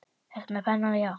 Ertu með penna, já.